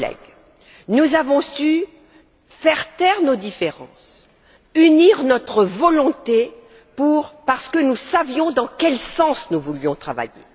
Chers collègues, nous avons su taire nos différences et unir nos volontés parce que nous savions dans quel sens nous voulions travailler.